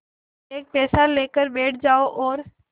एक पैसा देकर बैठ जाओ और